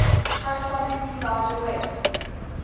correspondingly larger weight